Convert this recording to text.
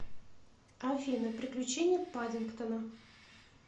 афина приключения паддингтона